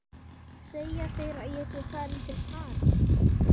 Segja þeir að ég sé að fara til París?